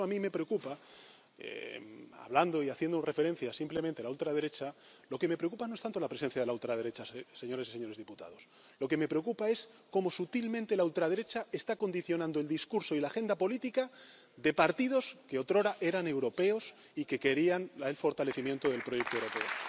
Por eso a mí lo que me preocupa, hablando y haciendo referencia simplemente a la ultraderecha, lo que me preocupa no es tanto la presencia de la ultraderecha, señores y señoras diputados, lo que me preocupa es cómo sutilmente la ultraderecha está condicionando el discurso y la agenda política de partidos que otrora eran europeos y que querían el fortalecimiento del proyecto europeo.